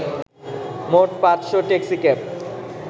মোট ৫’শ ট্যাক্সিক্যাব